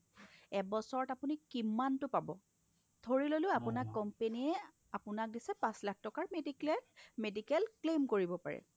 এবছৰত আপুনি কিমানটো পাব ধৰিললো আপোনাক company য়ে দিছে পাচ লাখ টকাৰ mediclaim medical claim কৰিব পাৰে